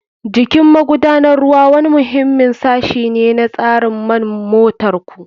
Jikin magudanar ruwa wani muhimmin sashi ne na tsarin man motar ku.